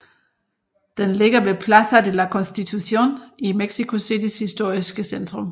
Den ligger ved Plaza de la Constitución i Mexico Citys historiske centrum